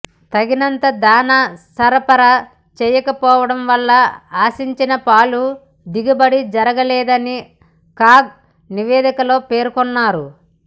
తగినంత దాణా సరఫరా చేయకపోవడం వల్ల ఆశించిన పాల దిగుబడి జరగలేదని కాగ్ నివేదికలో పేర్కొన్నారు